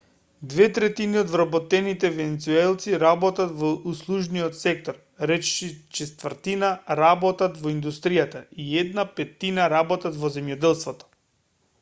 две третини од вработените венецуелци работат во услужниот сектор речиси четвртина работат во индустријата и една петтина работат во земјоделството